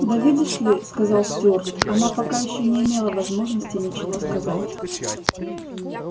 да видишь ли сказал стюарт она пока ещё не имела возможности ничего сказать